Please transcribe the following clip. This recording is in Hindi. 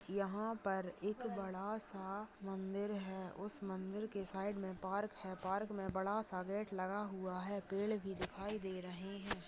यहाँ पर एक बड़ा सा मंदिर है उस मंदिर के साइड मे पार्क है पार्क मे बड़ा सा गेट लगा हुआ है पेड़ भी दिखाई दे रहे है।